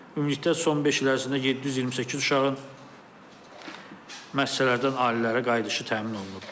Ümumilikdə son beş il ərzində 728 uşağın müəssisələrdən ailələrə qayıdışı təmin olunub.